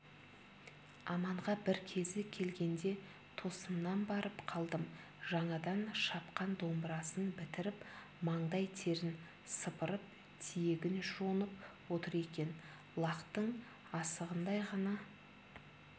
аманға бір кезі келгенде тосыннан барып қалдым жаңадан шапқан домбырасын бітіріп маңдай терін сыпырып тиегін жонып отыр екен лақтың асығындай ғана